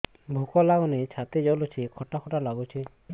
ଭୁକ ଲାଗୁନି ଛାତି ଜଳୁଛି ଖଟା ଖଟା ଲାଗୁଛି